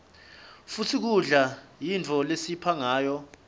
futsi kudla yintfo lesiphila ngayo